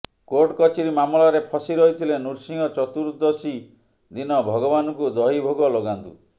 କୋର୍ଟକଚେରୀ ମାମଲାରେ ଫସି ରହିଥିଲେ ନୃସିଂହ ଚତୁର୍ଦ୍ଦଶୀ ଦିନ ଭଗବାନଙ୍କୁ ଦହି ଭୋଗ ଲଗାନ୍ତୁ